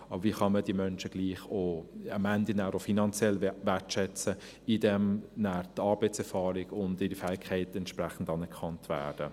Aber wie kann man diese Menschen gleichwohl am Ende auch finanziell wertschätzen, indem nachher die Arbeitserfahrung und ihre Fähigkeiten entsprechend anerkannt werden?